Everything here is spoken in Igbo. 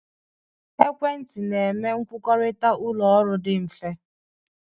Ekwentị na-enye nkwukọrịta ụlọ ọrụ dị mfe.